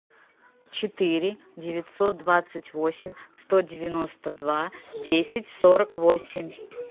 четыре девятьсот двадцать восемь сто девяносто два десять сорок восемь